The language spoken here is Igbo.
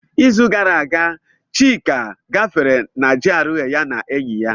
N'izu gara aga, Chika gafere na GRA ya na enyi ya.